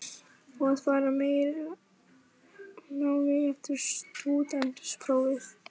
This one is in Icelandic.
Á að fara í meira nám eftir stúdentsprófið?